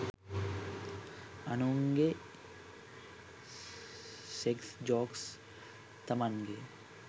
අනුන්ගෙ sex jokes තමන්ගෙ